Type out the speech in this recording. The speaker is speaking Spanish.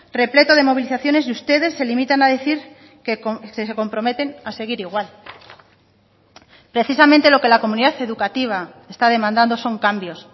repleto de movilizaciones y ustedes se limitan a decir que se comprometen a seguir igual precisamente lo que la comunidad educativa está demandando son cambios